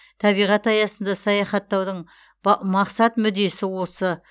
табиғат аясында саяхаттаудың мақсат мүддесі осы